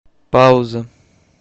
пауза